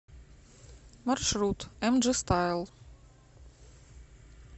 маршрут эмджи стайл